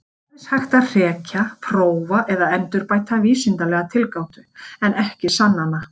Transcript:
Það er aðeins hægt að hrekja, prófa eða endurbæta vísindalega tilgátu, en ekki sanna hana.